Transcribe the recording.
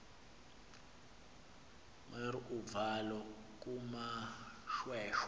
mer uvalo kumoshweshwe